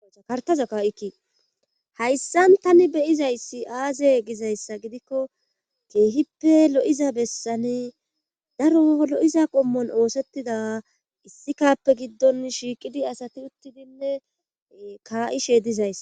kartaza kaa7ikki hayssan tani beyizayssi aaze gizayssa gidikko keehippe lo7iza bessani daro lo7iza qommon oosettida issikappe giddon shiiqidi asati uttidinne kaa7ishe dizayss